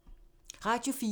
Radio 4